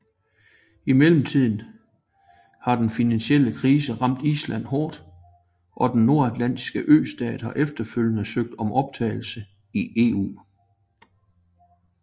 I mellemtiden har den finansielle krise ramt Island hårdt og den nordatlantiske østat har efterfølgende søgt om optagelse i EU